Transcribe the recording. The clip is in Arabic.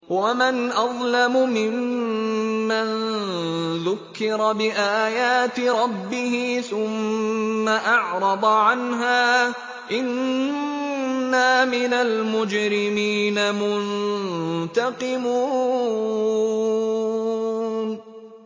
وَمَنْ أَظْلَمُ مِمَّن ذُكِّرَ بِآيَاتِ رَبِّهِ ثُمَّ أَعْرَضَ عَنْهَا ۚ إِنَّا مِنَ الْمُجْرِمِينَ مُنتَقِمُونَ